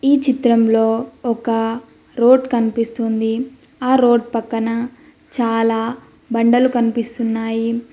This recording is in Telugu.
ఈ చిత్రంలో ఒక రోడ్ కనిపిస్తుంది ఆ రోడ్ పక్కన చాలా బండలు కనిపిస్తున్నాయి.